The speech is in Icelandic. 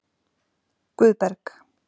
Guðberg